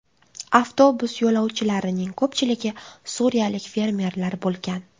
Avtobus yo‘lovchilarining ko‘pchiligi suriyalik fermerlar bo‘lgan.